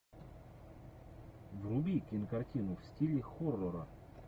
вруби кинокартину в стиле хоррора